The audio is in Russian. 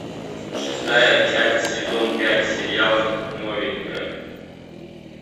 шестая часть сезон пять сериал новенькая